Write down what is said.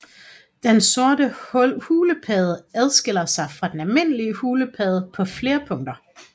Den sorte hulepadde adskiller sig fra den almindelige hulepadde på flere punkter